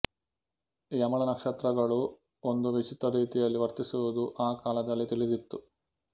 ಯಮಳ ನಕ್ಷತ್ರಗಳು ಒಂದು ವಿಚಿತ್ರರೀತಿಯಲ್ಲಿ ವರ್ತಿಸುವುದು ಆ ಕಾಲದಲ್ಲಿ ತಿಳಿದಿತ್ತು